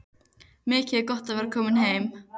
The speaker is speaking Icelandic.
Mikið er gott að vera komin heim!